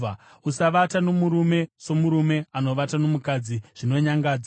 “ ‘Usavata nomurume somurume anovata nomukadzi; zvinonyangadza.